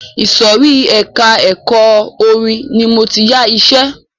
Ìsòrí ẹka ẹ̀kọ́ orin ní máa tí yá iṣẹ.